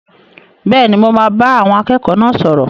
Bẹ́ẹ̀ni, mo máa bá àwọn akẹ́kọ̀ọ́ náà sọ̀rọ̀.